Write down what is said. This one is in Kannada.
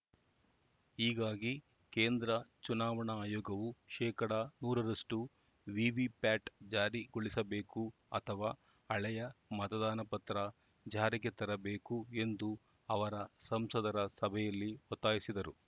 ಹೀಗಾಗಿ ಕೇಂದ್ರ ಚುನಾವಣಾ ಆಯೋಗವು ಶೇಕಡಾ ನೂರರಷ್ಟುವಿವಿಪ್ಯಾಟ್‌ ಜಾರಿಗೊಳಿಸಬೇಕು ಅಥವಾ ಹಳೆಯ ಮತದಾನ ಪತ್ರ ಜಾರಿಗೆ ತರಬೇಕು ಎಂದು ಅವರ ಸಂಸದರ ಸಭೆಯಲ್ಲಿ ಒತ್ತಾಯಿಸಿದರು